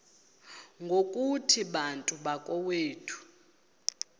ngokuthi bantu bakowethu